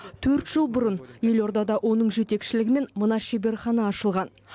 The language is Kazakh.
төрт жыл бұрын елордада оның жетекшілігімен мына шеберхана ашылған